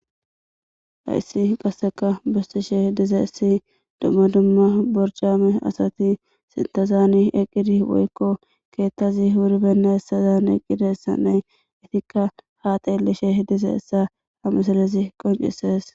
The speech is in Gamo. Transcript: hayssi qasseka bustishe diza essi dumma dumma borjaame asati sintazani eqqidi woykko keettazi wuribenna hessazan eqqidessanne itikka ha xeelishe dize essa amasalezi qoncises